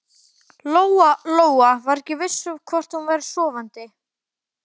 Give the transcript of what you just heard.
Lóa Lóa var ekki viss um hvort hún væri sofandi.